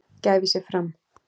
gæfi sig fram.